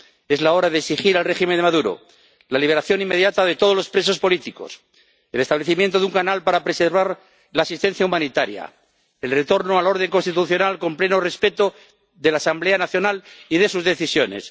Es la hora de exigir al régimen de Maduro la liberación inmediata de todos los presos políticos, el establecimiento de un canal para preservar la asistencia humanitaria, el retorno al orden constitucional, con pleno respeto de la Asamblea Nacional y de sus decisiones.